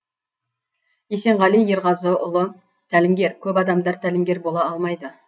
есенғали ерғазыұлы тәлімгер көп адамдар тәлімгер бола алмайды